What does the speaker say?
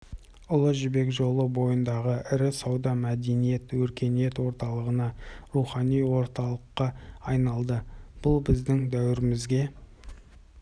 ұлы жібек жолы бойындағы ірі сауда мәдениет өркениет орталығына рухани орталыққа айналады бұл біздің дәуірімізге